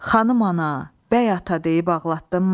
Xanım ana, bəy ata deyib ağlatdınmı?